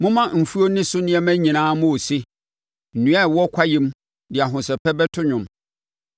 momma mfuo ne so nneɛma nyinaa mmɔ ose. Nnua a ɛwɔ kwaeɛm de ahosɛpɛ bɛto dwom;